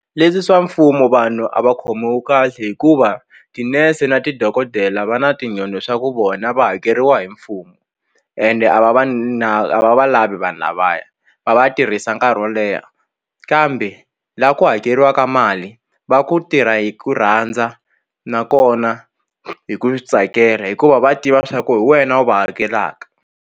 Leswi swa mfumo vanhu a va khomiwi kahle hikuva tinese na ti dokodela va na swa ku vona va hakeriwa hi mfumo ende a va va a va va lavi vanhu lavaya va va tirhisa nkarhi wo leha kambe la ku hakeriwaka mali va ku tirha hi ku rhandza nakona hi ku swi tsakela hikuva va tiva swa ku hi wena u va hakelaka.